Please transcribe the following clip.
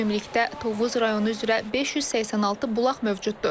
Ümumilikdə Tovuz rayonu üzrə 586 bulaq mövcuddur.